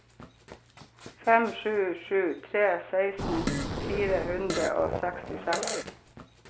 fem sju sju tre seksten fire hundre og sekstiseks